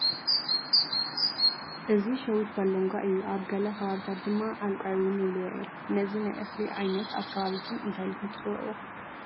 እዚ ሸዊት ባሎንጓ እዩ፡፡ ኣብ ገለ ከባብታት ድማ ዓልቋይ እውን ይብልዎ እዮም፡፡ ነዚ ናይ እኽሊ ዓይነት ኣብ ከባቢኹም እንታይ ኢልኹም ትፅውዕዎ?